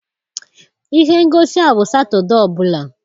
Ihe ngosi a bụ Satọde ọ bụla